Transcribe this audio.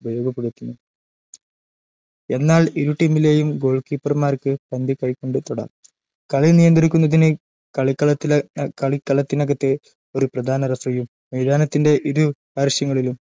ഉപയോഗപ്പെടുത്തുന്നുണ്ട്‌ എന്നാൽ ഇരുടീമിലെയും ഗോൾകീപ്പർമാർക്ക്‌ പന്തു കൈകൊണ്ടു തൊടാം കളി നിയന്ത്രിക്കുന്നതിന് കളിക്കളത്തിനകത്ത് ഒരു പ്രധാന റഫറിയും മൈതാനത്തിന്റെ ഇരു പാർശ്വങ്ങളിലും